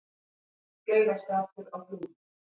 Klaufaskapur á Flúðum